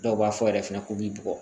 Dɔw b'a fɔ yɛrɛ fɛnɛ ko k'i bugɔ